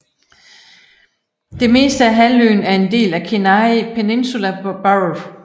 Det meste af halvøen er en del af Kenai Peninsula Borough